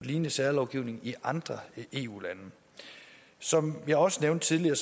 en lignende særlovgivning i andre eu lande som jeg også nævnte tidligere